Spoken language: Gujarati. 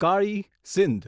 કાળી સિંધ